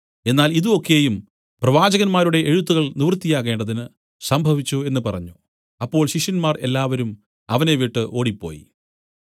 എന്നാൽ ഇതു ഒക്കെയും പ്രവാചകന്മാരുടെ എഴുത്തുകൾ നിവൃത്തിയാകേണ്ടതിന് സംഭവിച്ചു എന്നു പറഞ്ഞു അപ്പോൾ ശിഷ്യന്മാർ എല്ലാവരും അവനെ വിട്ടു ഓടിപ്പോയി